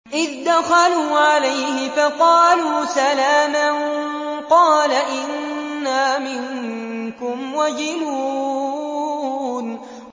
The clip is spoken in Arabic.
إِذْ دَخَلُوا عَلَيْهِ فَقَالُوا سَلَامًا قَالَ إِنَّا مِنكُمْ وَجِلُونَ